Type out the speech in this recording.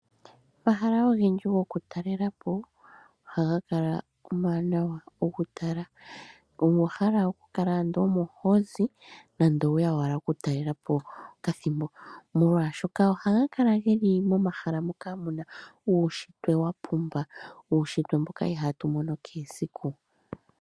Omashala ogendji goku talela po ohaga kala omawanawa okutala. Omuntu owa hala okukala ando omo hozi nando oweya ashike okutalela po pakathimbo ,molwaashoka ohaga kala geli momahala mono muna uunshitwe wapumba , uunshitwe mboka ihatu wumono kehe esiku.